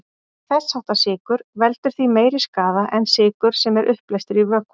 Þess háttar sykur veldur því meiri skaða en sykur sem er uppleystur í vökva.